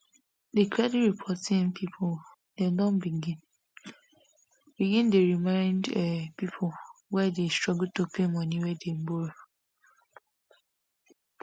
di credit reporting people dem don begin begin dey remind um people wey dey struggle to pay money wey dem borrow